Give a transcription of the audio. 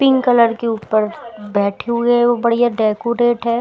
Pink colour के ऊपर बैठे हुए बढ़िया डेकोरेट है।